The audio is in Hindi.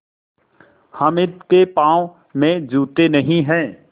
हामिद के पाँव में जूते नहीं हैं